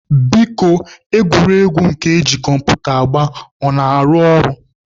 Biko egwuregwu nke eji kọmputa agba ọ na-arụ ọrụ?